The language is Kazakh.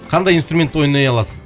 қандай инструментте ойнай аласың